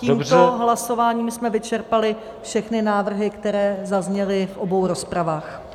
Tímto hlasováním jsme vyčerpali všechny návrhy, které zazněly v obou rozpravách.